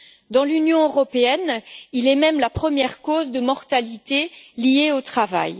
Dans l'Union européenne, il est même la première cause de mortalité liée au travail.